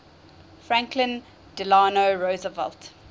franklin delano roosevelt